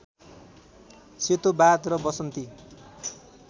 सेतोबाघ र वसन्ती